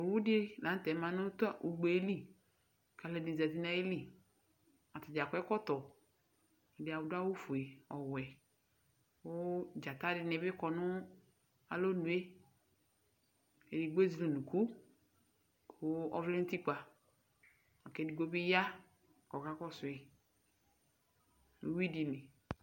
Owu dɩ la nʋ tɛ ma nʋ tʋ ugbe yɛ li, kʋ alu ɛdɩnɩ zǝti nʋ ayili Atadza akɔ ɛkɔtɔ, ɛdɩnɩ adu awufue nʋ ɔwɛ Kʋ alu ɛdɩnɩ bɩ kɔ nʋ alɔnu yɛ Edigbo ezele unuku, kʋ ɔvlɛ nʋ utikpǝ, akʋ edigbo bɩ ya kʋ ɔkakɔsʋ yɩ nʋ uyʋi dɩ li